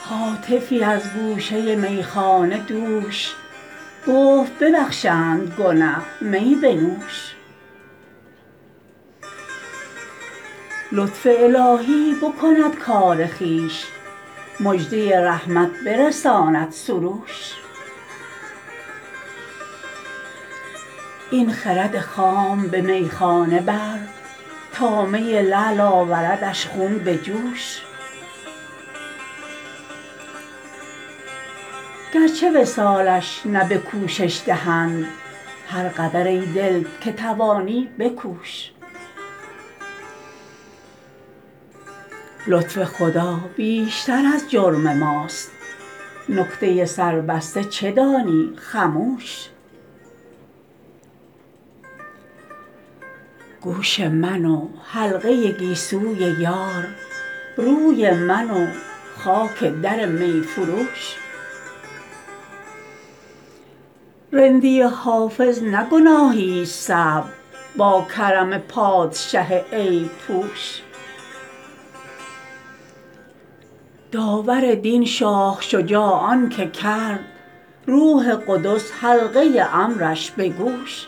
هاتفی از گوشه میخانه دوش گفت ببخشند گنه می بنوش لطف الهی بکند کار خویش مژده رحمت برساند سروش این خرد خام به میخانه بر تا می لعل آوردش خون به جوش گرچه وصالش نه به کوشش دهند هر قدر ای دل که توانی بکوش لطف خدا بیشتر از جرم ماست نکته سربسته چه دانی خموش گوش من و حلقه گیسوی یار روی من و خاک در می فروش رندی حافظ نه گناهیست صعب با کرم پادشه عیب پوش داور دین شاه شجاع آن که کرد روح قدس حلقه امرش به گوش